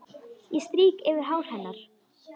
Ég strýk yfir hár hennar.